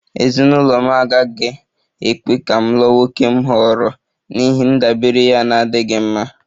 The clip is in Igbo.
Ezinụlọ m agaghị ekwe ka m lụọ nwoke m họọrọ n'ihi ndabere ya na-adịghị mma